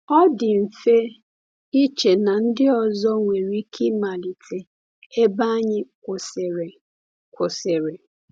Ọ dị mfe iche na ndị ọzọ nwere ike ịmalite ebe anyị kwụsịrị. kwụsịrị.